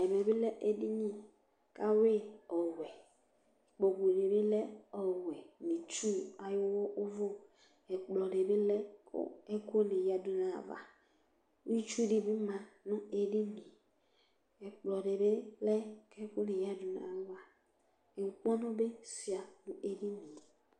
ɛmɛ bi lɛ edini k'awi yi ɔwɛ ikpoku di bi lɛ ɔwɛ n'itsu ayi òvu ɛkplɔ di bi lɛ kò ɛkò ni ya du n'ava itsu di bi ma no edini yɛ ɛkplɔ di bi lɛ k'ɛkò ni ya du n'ava inkpɔnu bi sua no edini yɛ